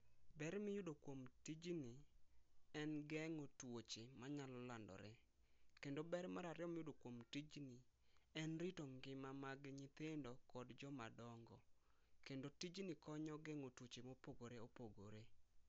Ber miyudo kuom tijni en gengo tuoche manyalo landore kendo ber marariyo miyudo kuom tijni en rito ngima mag nyithindo kod jomadongo kendo tijni konyo gengo tuoche ma opogore opogore